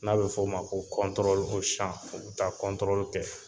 N'a f'o ma ko kɔntoroli o san o be taa kɔntoroli kɛ